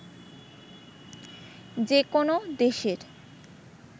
যে কোনো দেশের